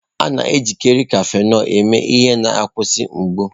A na-ejikarị Cafịnọlụ eme ihe na a nkwụsị mgbu.